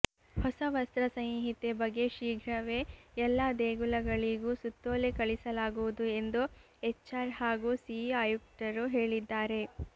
ಹೊಸ ವಸ್ತ್ರ ಸಂಹಿತೆ ಬಗ್ಗೆ ಶೀಘ್ರವೇ ಎಲ್ಲಾ ದೇಗುಲಗಳಿಗೂ ಸುತ್ತೋಲೆ ಕಳಿಸಲಾಗುವುದು ಎಂದು ಎಚ್ಆರ್ ಹಾಗೂ ಸಿಇ ಆಯುಕ್ತರು ಹೇಳಿದ್ದಾರೆ